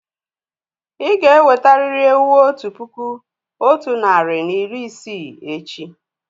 Ì ga-ewetarị́li ewu otu puku otu narị na iri isii echi!